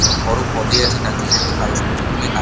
একটু বড় পদে আছে তাই জন্য এতো কাগজপত্র নিয়ে কাজ।